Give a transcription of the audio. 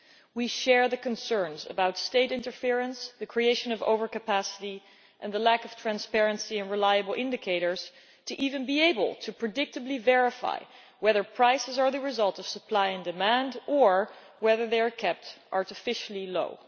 We share the concerns about state interference, the creation of overcapacity, the lack of transparency and the existence of reliable indicators that can predictably verify whether prices are the result of supply and demand or whether they are kept artificially low.